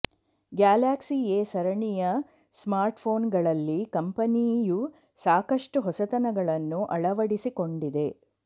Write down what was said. Galaxy A ಸರಣಿಯ ಸ್ಮಾರ್ಟ್ಫೋನ್ಗಳಲ್ಲಿ ಕಂಪನಿಯು ಸಾಕಷ್ಟು ಹೊಸತನಗಳನ್ನು ಅಳವಡಿಸಿಕೊಂಡಿದೆ